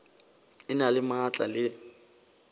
e na le maatla le